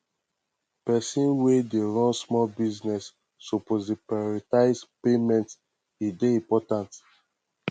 pesin wey dey run small business suppose dey prioritize payments e dey important